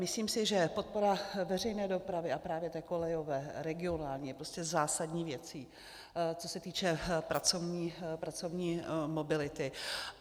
Myslím si, že podpora veřejné dopravy, a právě té kolejové, regionální, je prostě zásadní věcí, co se týče pracovní mobility.